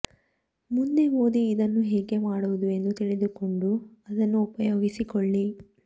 ಮುಂದೆ ಓದಿ ಇದನ್ನು ಹೇಗೆ ಮಾಡುವುದು ಎಂದು ತಿಳಿದುಕೊಂಡು ಅದನ್ನು ಉಪಯೋಗಿಸಿಕೊಳ್ಳಿ